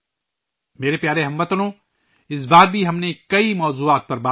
میرے پیارے ہم وطنو، اس بار بھی ہم نے بہت سے موضوعات پر بات کی